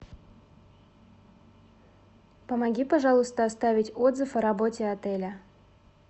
помоги пожалуйста оставить отзыв о работе отеля